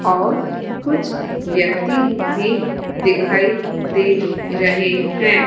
और कुछ व्यक्ति भी दिखाई दे रहे है।